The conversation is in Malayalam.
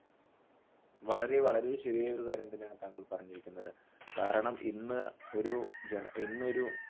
വളരെ വളരെ ശരിയായൊരു കാര്യമാണ് താങ്കൾ പറഞ്ഞിരിക്കുന്നത്, കാരണം ഇന്ന് ഒരു ഇന്നൊരു